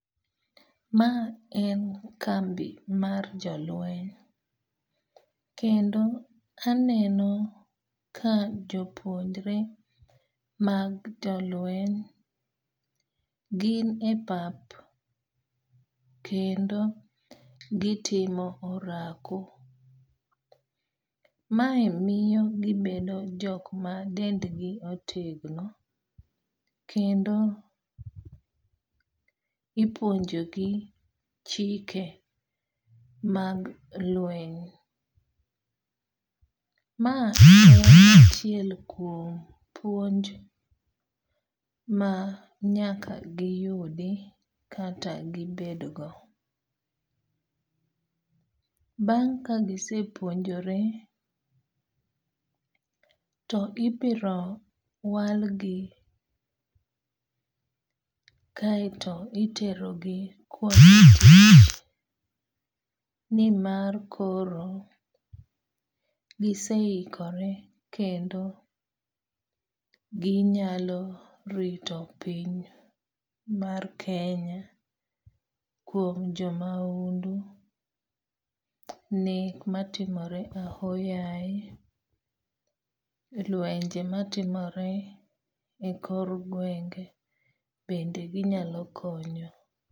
Ma en kambi mar jolweny. Kendo aneno ka jopuonjre mag jolweny gin e pap kendo gitimo orako. Mae miyo gibedo jok ma dendgi otegno kendo ipuonjo gi chike mag lweny. Ma en achiel kuom puonj ma nyaka giyudi kata gibed go. Bang' kagise puonjore to ibiro wal gi kaeto itero gi kuonde tich nimar koro gise hikore kendo ginyalo rito pinya mar Kenya kuom jomaundu, nek matimore ahoyaye, lwenje matimore e kor gwenge bende ginyalo konyo.